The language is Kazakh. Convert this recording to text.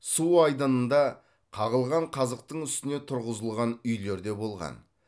су айдынында қағылған қазықтың үстіне тұрғызылған үйлер де болған